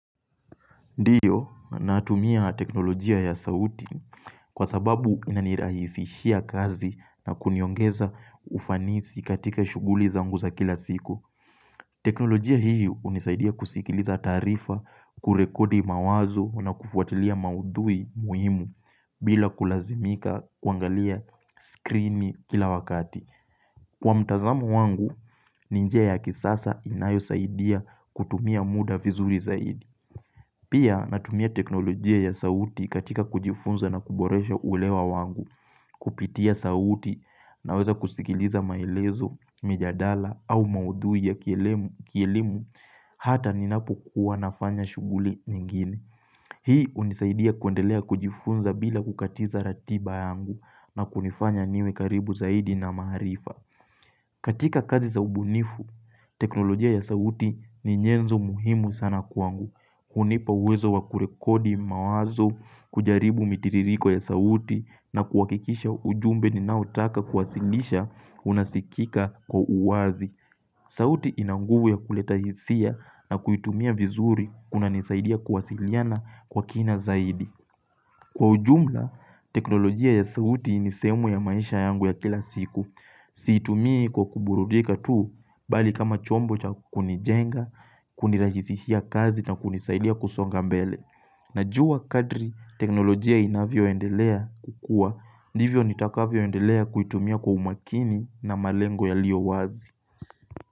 Ndio, natumia teknolojia ya sauti kwa sababu inanirahisishia kazi na kuniongeza ufanisi katika shughuli zangu za kila siku. Teknolojia hiyo hunisaidia kusikiliza taarifa, kurekodi mawazo na kufuatilia maudhui muhimu bila kulazimika kuangalia skrini kila wakati. Kwa mtazamo wangu, ni njia ya kisasa inayosaidia kutumia muda vizuri zaidi. Pia natumia teknolojia ya sauti katika kujifunza na kuboresha ulewa wangu Kupitia sauti naweza kusikiliza maelezo, mijadala au maudhui ya kielimu Hata ninapokuwa nafanya shughuli nyingine. Hii hunisaidia kuendelea kujifunza bila kukatiza ratiba yangu, na kunifanya niwe karibu zaidi na maarifa katika kazi za ubunifu, teknolojia ya sauti ni nyenzo muhimu sana kwangu. Hunipa uwezo wa kurekodi mawazo, kujaribu mitiririko ya sauti na kuhakikisha ujumbe ninaotaka kuwasilisha unasikika kwa uwazi. Sauti ina nguvu ya kuleta hisia na kuitumia vizuri kunanisaidia kuwasiliana kwa kina zaidi. Kwa ujumla, teknolojia ya sauti ni sehemu ya maisha yangu ya kila siku. Siitumii kwa kuburudika tu bali kama chombo cha kunijenga, kunirahisishia kazi na kunisaidia kusonga mbele. Najua kadri teknolojia inavyoendelea kukua, ndivyo nitakavyoendelea kuitumia kwa umakini na malengo yalio wazi.